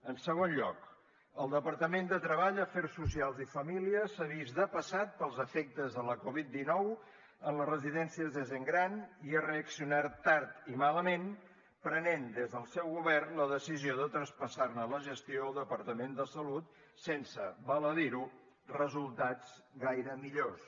en segon lloc el departament de treball afers socials i famílies s’ha vist depassat pels efectes de la covid dinou en les residències de gent gran i ha reaccionat tard i malament i han pres des del seu govern la decisió de traspassar ne la gestió al departament de salut sense val a dir ho resultats gaire millors